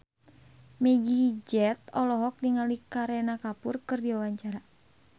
Meggie Z olohok ningali Kareena Kapoor keur diwawancara